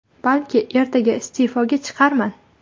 Balki ertaga iste’foga chiqarman.